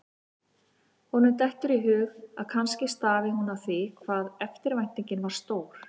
Honum dettur í hug að kannski stafi hún af því hvað eftirvæntingin var stór.